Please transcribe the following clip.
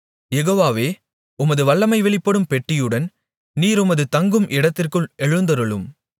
யெகோவாவே உமது வல்லமை வெளிப்படும் பெட்டியுடன் நீர் உமது தங்கும் இடத்திற்குள் எழுந்தருளும்